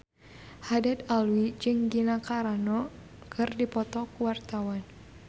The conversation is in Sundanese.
Haddad Alwi jeung Gina Carano keur dipoto ku wartawan